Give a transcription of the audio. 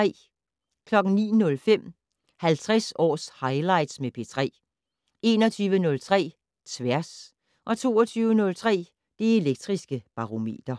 09:05: 50 års highlights med P3 21:03: Tværs 22:03: Det Elektriske Barometer